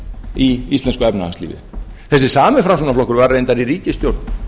í íslensku efnahagslífi þessi sami framsóknarflokkur var reyndar í ríkisstjórn